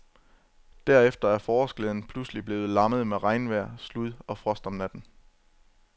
Derefter er forårsglæden pludselig blevet lammet med regnvejr, slud og frost om natten.